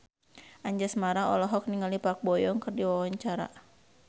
Anjasmara olohok ningali Park Bo Yung keur diwawancara